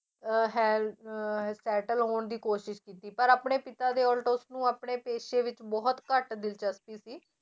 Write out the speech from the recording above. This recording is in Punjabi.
ਅਹ ਹੈ~ ਅਹ settle ਹੋਣ ਦੀ ਕੋਸ਼ਿਸ਼ ਕੀਤੀ ਪਰ ਆਪਣੇ ਪਿਤਾ ਦੇ ਉੱਲਟ ਉਸਨੂੰ ਆਪਣੇ ਪੇਸ਼ੇ ਵਿੱਚ ਬਹੁਤ ਘੱਟ ਦਿਲਚਸਪੀ ਸੀ।